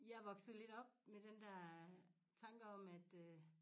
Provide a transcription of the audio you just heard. Jeg vokset lidt op med den dér tanke om at øh